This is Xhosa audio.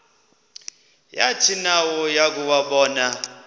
yathi nayo yakuwabona